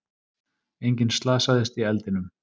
Enginn slasaðist í eldinum